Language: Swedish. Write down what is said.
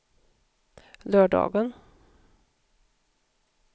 lördagen